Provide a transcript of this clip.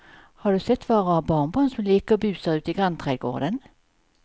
Har du sett våra rara barnbarn som leker och busar ute i grannträdgården!